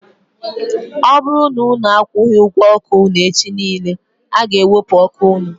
Ọ bụrụ na unu akwughi ụgwọ ọkụ unu echi niile, a ga ewepu ọkụ unu